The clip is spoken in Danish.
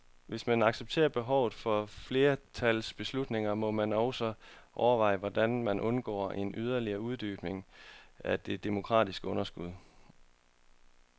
Hvis man accepterer behovet for flertalsbeslutninger, må man også overveje, hvordan man undgår en yderligere uddybning af det demokratiske underskud.